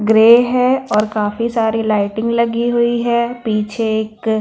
grey है और काफी सारी लाइटिंग लगी हुई है पीछे एक---